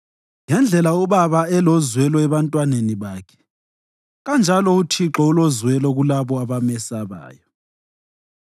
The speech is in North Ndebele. Ngendlela ubaba elozwelo ebantwaneni bakhe, kanjalo uThixo ulozwelo kulabo abamesabayo;